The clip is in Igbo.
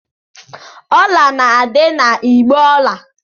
Jewelries are kept in the jewelry box.